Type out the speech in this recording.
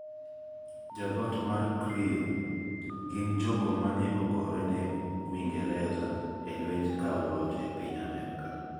Jodhot mar krio gin jogo mane ogorene wingereza e lwenj kawo loch e piny Amerika.